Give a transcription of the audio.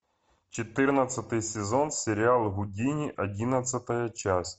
четырнадцатый сезон сериал гудини одиннадцатая часть